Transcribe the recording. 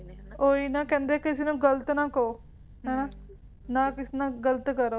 ਉਹ ਹੀ ਨਾ ਨਾ ਕਹਿੰਦੇ ਕਿ ਕਿਸੇ ਨੂੰ ਗਲਤ ਨਾ ਕਹੋ ਹੈ ਨਾ ਨਾ ਹੀ ਕਿਸੇ ਨਾਲ ਗਲਤ ਕਰੋ